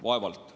Vaevalt.